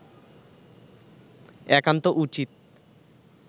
একান্ত উচিত